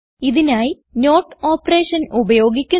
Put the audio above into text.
ഇതിനായി not operation ഉപയോഗിക്കുന്നു